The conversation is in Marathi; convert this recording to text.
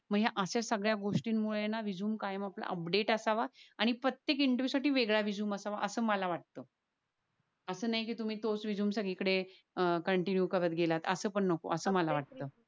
मग या अशा सगळ्या गोष्टी मुळे रेझूमे कायम ना अपडेट असावा आणि प्रत्येक इंटरव्हिएव साठी वेगळा रेझूमे असावा अस मला वाटत. अस नाय कि तुम्ही तोच रेझूमे सगळे कडेकन्टीनुए करत गेलात. अस पण नको अस मला वाटत